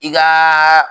I kaaa